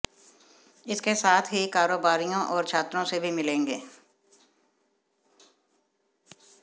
इसके साथ ही कारोबारियों और छात्रों से भी मिलेंगे